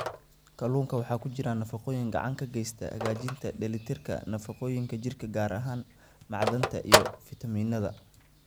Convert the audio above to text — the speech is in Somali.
Kalluunka waxaa ku jira nafaqooyin gacan ka geysta hagaajinta dheellitirka nafaqooyinka jirka, gaar ahaan macdanta iyo fiitamiinnada.